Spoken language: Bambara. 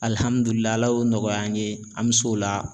Alihamdulila Ala y'o nɔgɔya an ye an be se o la